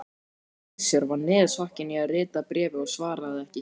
Gizur var niðursokkinn í að rita bréfið og svaraði ekki.